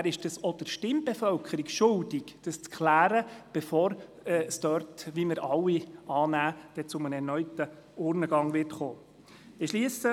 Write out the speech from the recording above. Er ist dies auch der Stimmbevölkerung schuldig, bevor es dort, wie wir alle annehmen, zu einem erneuten Urnengang kommen wird.